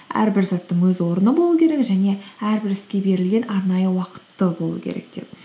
әрбір заттың өз орны болу керек және әрбір іске берілген арнайы уақыт та болу керек деп